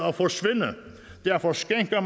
at forsvinde derfor skænker